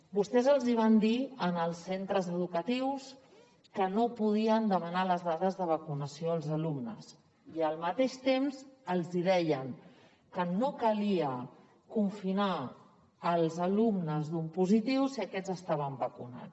vostès els hi van dir als centres educatius que no podien demanar les dades de vacunació dels alumnes i al mateix temps els deien que no calia confinar els alumnes d’un positiu si aquests estaven vacunats